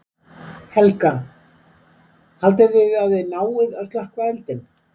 Helga: Haldið þið að þið náið að slökkva eldinn?